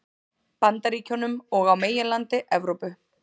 Bandaríkjunum og á meginlandi Evrópu.